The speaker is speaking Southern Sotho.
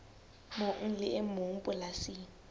mong le e mong polasing